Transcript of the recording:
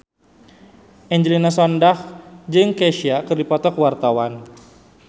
Angelina Sondakh jeung Kesha keur dipoto ku wartawan